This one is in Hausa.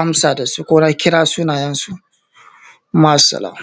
ambata su ko na kira sunayensu. Ma’assalam